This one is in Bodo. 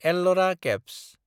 एल्लरा केभ्स